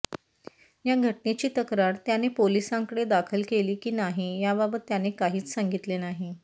या घटनेची तक्रार त्याने पोलिसांकडे दाखल केली की नाही याबाबत त्याने काहीच सांगितले नाही